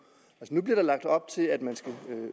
som bliver der lagt op til at man skal